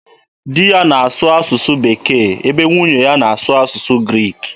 Di ya na-asụ asụsụ Bekee ebe nwunye ya na-asụ asụsụ Greek.